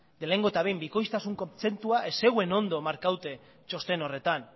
lehenengo eta behin bikoiztasun kontzeptua ez zegoen ondo markatu txosten horretan